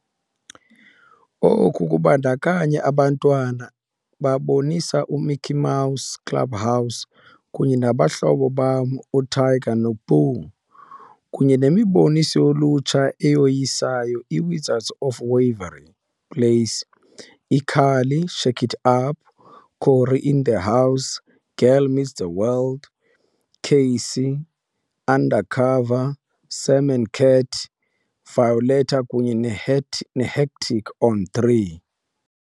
Oku kubandakanya abantwana babonisa iMickey Mouse Clubhouse kunye nabahlobo bam uTigger noPooh, kunye nemiboniso yolutsha eyoyisayo, iWizards of Waverly Place, iCarly, Shake It Up, Cory In The House, Girl Meets World, K.C. Undercover, Sam and Cat, Violetta kunye neHat neHectic on 3 .